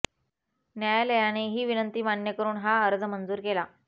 न्यायालयाने हि विनंती मान्य करून हा अर्ज मंजूर केला